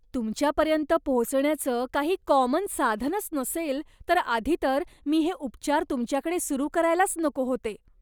तुमच्यापर्यंत पोहोचण्याचं काही कॉमन साधनच नसेल, तर आधी तर मी हे उपचार तुमच्याकडे सुरु करायलाच नको होते.